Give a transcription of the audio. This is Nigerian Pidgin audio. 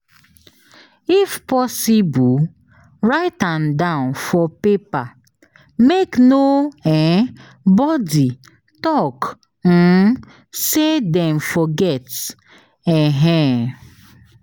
If possible write an down for paper make no um body talk um say Dem forget um